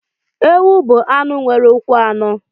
Ewu bụ anụ nwere ụkwụ anọ.